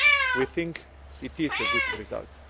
We think it is a good result!